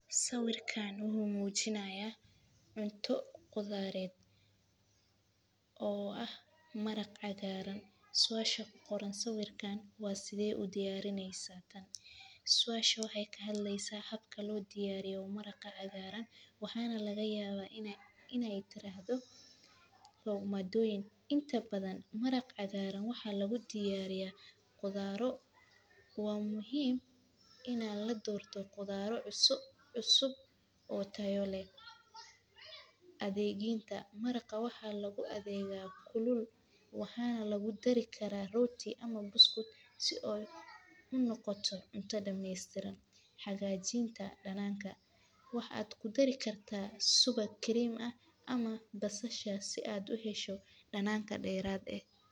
Sawirkani waxuu mujinaya cunto qudareed oo ah maraq cagaaran suasha ku qoran sawirkan waa side u diyarineysa tan suasha waxay kahadleysa habka lodiyariyo maraqa cagaaran waxaana lagayaba inay tirahdo waa maadoyin inta badan maraq cagaaran waxaa lagudiyariya qudaro waa muhiim ina ladorto qudaro cusub oo tayo leh. Adegyeynta maraqa waxaa lagu adeega kulul waxaana lagudari kara roti ama buskud si ay u noqoto cunta dhameystiran hagajinta dananka waxaad kudari karta subag cream ah ama basasha si aad u hesho danaan ka deerad eh.